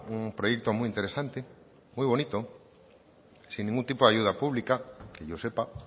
un proyecto muy interesante muy bonito sin ningún tipo de ayuda pública que yo sepa